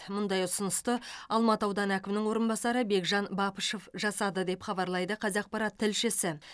мұндай ұсынысты алматы ауданы әкімінің орынбасары бекжан бапышев жасады деп хабарлайды қазақпарат тілшісі